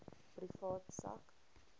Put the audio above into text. privaat sak